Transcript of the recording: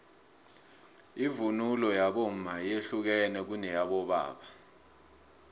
ivunulo yabomma yehlukene kuneyabobaba